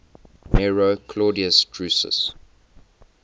nero claudius drusus